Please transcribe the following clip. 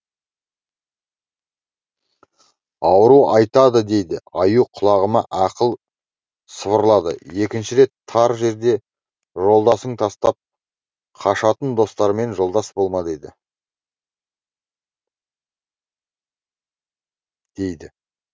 ауру айтады дейді аю құлағыма ақыл сыбырлады екінші рет тар жерде жолдасын тастап қашатын достармен жолдас болма деді дейді